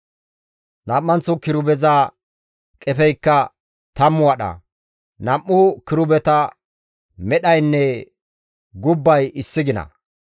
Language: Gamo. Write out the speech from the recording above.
Nam7anththo kirubeza qefeykka tammu wadha; nam7u kirubeta medhaynne gubbay issi gina.